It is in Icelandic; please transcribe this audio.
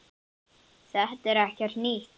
Þetta er ekkert nýtt.